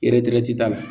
t'a la